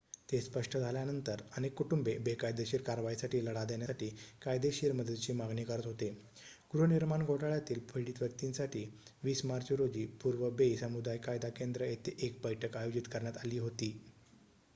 ते स्पष्ट झाल्यानंतर अनेक कुटुंबे बेकायदेशीर कारवाईसाठी लढा देण्यासाठी कायदेशीर मदतीची मागणी करत होते गृहनिर्माण घोटाळ्यातील पीडित व्यक्तींसाठी 20 मार्च रोजी पूर्व बे समुदाय कायदा केंद्र येथे एक बैठक आयोजित करण्यात आली होती